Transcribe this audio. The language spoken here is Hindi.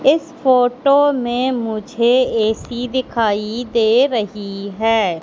इस फोटो में मुझे ए_सी दिखाई दे रही है।